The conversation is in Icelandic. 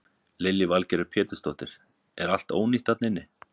Lillý Valgerður Pétursdóttir: Er allt ónýtt þarna inni?